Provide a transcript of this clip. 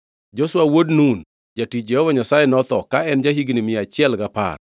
Joshua wuod Nun, jatich Jehova Nyasaye, notho ka en ja-higni mia achiel gapar.